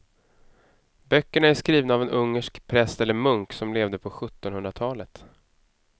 Böckerna är skrivna av en ungersk präst eller munk som levde på sjuttonhundratalet.